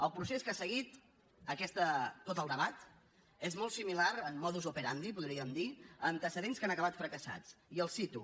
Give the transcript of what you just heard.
el procés que ha seguit tot el debat és molt similar en modus operandia antecedents que han acabat fracassats i els les cito